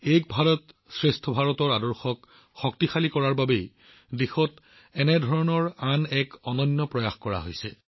এক ভাৰতৰ আত্মাক শক্তি প্ৰদান কৰাৰ বাবে এনে এক অনন্য প্ৰয়াস দেশত সংঘটিত হৈছে